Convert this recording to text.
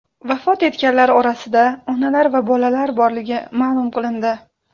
Vafot etganlar orasida onalar va bolalar borligi ma’lum qilindi.